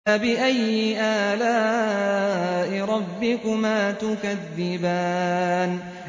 فَبِأَيِّ آلَاءِ رَبِّكُمَا تُكَذِّبَانِ